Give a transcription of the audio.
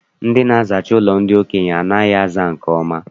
Ndị na-azacha ụlọ ndị okenye anaghị aza nke ọma.